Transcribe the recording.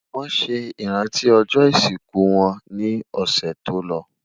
wón sé iranti ojó isiku wón ni ọsẹ tòló